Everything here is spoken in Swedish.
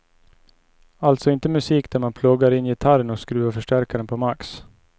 Alltså inte musik där man pluggar in gitarren och skruvar förstärkaren på max.